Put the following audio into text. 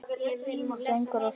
Söngur og saga.